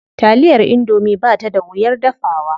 Taliyar indomie ba ta da wuyar dafawa.